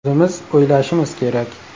O‘zimiz o‘ylashimiz kerak.